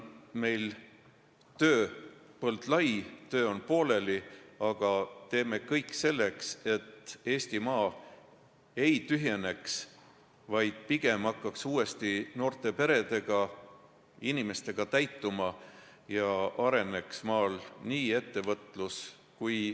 Meie tööpõld on lai, töö on pooleli, aga me teeme kõik selleks, et Eestimaa ei tühjeneks, vaid hakkaks uuesti täituma noorte peredega ja muude inimestega, et areneks maal nii põllumajandus kui ka muu ettevõtlus.